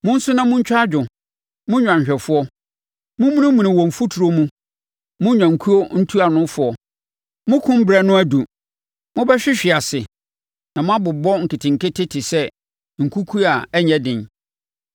Monsu na montwa adwo, mo nnwanhwɛfoɔ; mommunimuni wɔ mfuturo mu mo nnwankuo ntuanofoɔ. Mokum berɛ no aduru mobɛhwehwe ase, na moabobɔ nketenkete te sɛ nkukuo a ɛnyɛ den.